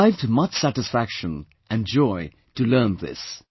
I derived much satisfaction and joy to learn this